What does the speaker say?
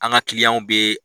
An ka kiliyanw bɛ.